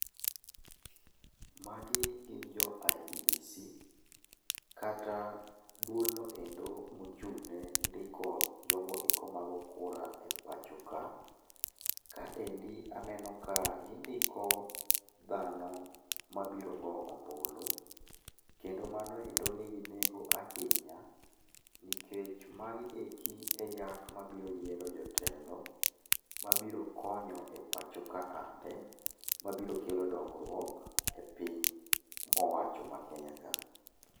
Magi gin jo IEBC kata duolno endo mochung' nendiko jogo eko mago kura epachoka. Kaendi aneno ka gindiko dhano mabiro go ombulu kendo mano endo nigi nengo ahinya, nikech magi eki eyak mabiro yiero jotelo mabiro konyo e pacho ka ande, mabiro kelo dongruok epiny owacho ma Kenya ka.